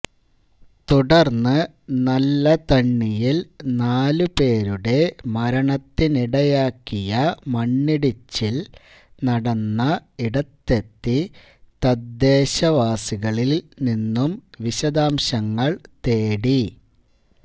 തുടര്ന്ന് നല്ലതണ്ണിയില് നാല് പേരുടെ മരണത്തിനിടയാക്കിയ മണ്ണിടിച്ചില് നടന്ന ഇടത്തെത്തി തദ്ദദേശവാസികളില് നിന്നും വിശദാംശങ്ങള് തേടി